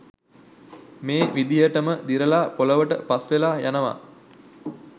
මේ විදිහටම දිරලා පොළොවට පස්වෙලා යනවා